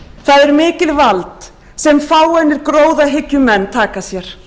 það er mikið vald sem fáeinir gróðahyggjumenn taka sér